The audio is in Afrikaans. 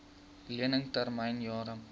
lening termyn jare